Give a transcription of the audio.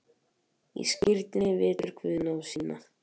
Í skírninni veitir Guð náð sína.